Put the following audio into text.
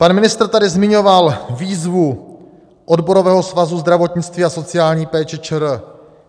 Pan ministr tady zmiňoval výzvu Odborového svazu zdravotnictví a sociální péče ČR.